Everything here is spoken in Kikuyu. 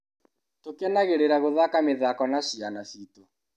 Tũkenagĩrĩra gũthaka mĩthako na ciana citũ.